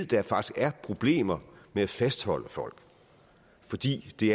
der faktisk er problemer med at fastholde folk fordi det